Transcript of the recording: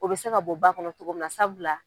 O bɛ se ka bɔ ba kɔnɔ cogoya mun na sabula.